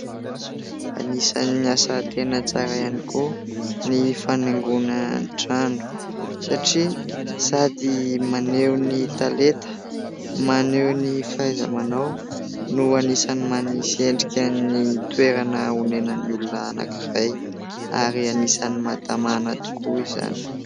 Anisany asa tena tsara ihany koa ny fanaingona ny trano satria sady maneho ny talenta maneho ny fahaizamanao no anisany manisy endrika ny toerana honenan'ny olona anankiray ary anisany mahatamana tokoa izany.